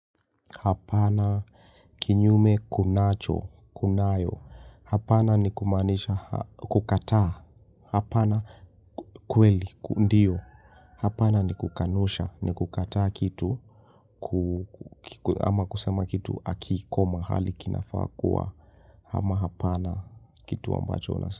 Hapana kinyume kunacho, kunayo, hapana ni kumanisha kukataa, hapana kweli, ndio, hapana ni kukanosha, ni kukataa kitu, ama kusema kitu akiko mahali kinafaa kua, ama hapana kitu ambacho nasa.